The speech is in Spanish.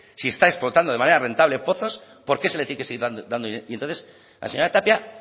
si está explotando de manera rentable pozos por qué se le tiene que seguir dando dinero y entonces la señora tapia